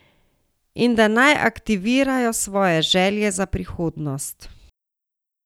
In da naj aktivirajo svoje želje za prihodnost.